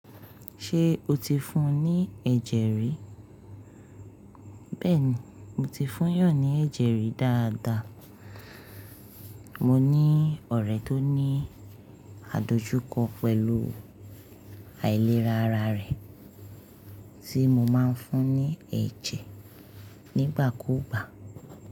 Ṣé o ti fún un ní ẹ̀jẹ̀ rí? Bẹ́ẹ̀ni, mo ti fún yan ní ẹ̀jẹ̀ rí dáadáa. Mo ní ọ̀rẹ́ tó ní àdojúkọ pẹ̀lú àìlera ara rẹ̀ tí mo máa ń fún ní ẹ̀jẹ̀ nígbàkúùgbà.